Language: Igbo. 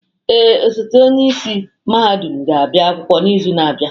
Ee, ọsote onye isi mahadum ga-abịa akwụkwọ n'izu na-abịa.